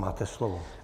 Máte slovo.